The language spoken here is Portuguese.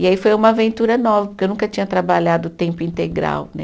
E aí foi uma aventura nova, porque eu nunca tinha trabalhado o tempo integral, né?